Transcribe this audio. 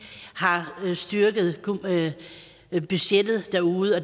har styrket budgetterne derude og